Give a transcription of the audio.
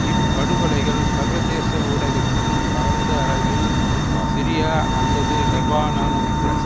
இப்படுகொலைகள் சர்வதேச ஊடகத்தில் பரந்த அளவில் சிரியா அல்லது லெபனானுக்குள்